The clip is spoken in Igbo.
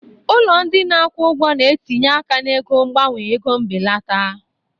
Ụlọ ndị na-akwụ ụgwọ na-etinye aka na ego mgbanwe ego mbelata